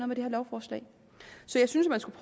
med det her lovforslag så jeg synes at man skulle